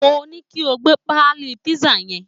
Mo ní kí o gbé pálí písà yẹn